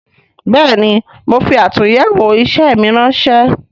Bẹẹni, mo fi atunyewo isẹ mi ránsẹ́